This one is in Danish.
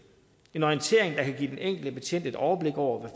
en orientering der kan give den enkelte betjent et overblik over hvad